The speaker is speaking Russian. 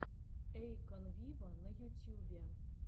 эйкон виво на ютьюбе